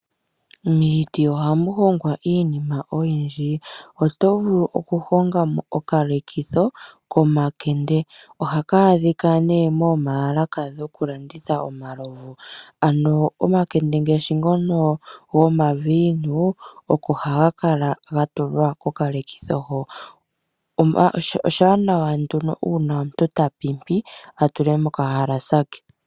Miiti ohamu hongwa iinima oyindji. Oto vulu okuhonga mo okalekitho komakende, ohaka adhika nee moomalaka dhokulanditha omalovu. Ano omakende ngaashi ngono gomaviinu oko haga kala ga tulwa kokalekitho ho. Oshiwanawa nduno uuna omuntu ta pimpi a tule mokahalasa ke.